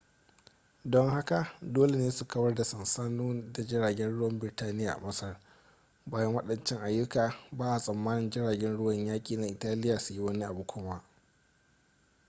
don hakan dole ne su kawar da sansanoni da jiragen ruwan birtaniya a masar bayan waɗancan ayyukan ba a tsammanin jiragen ruwan yaƙi na italiya su yi wani abu kuma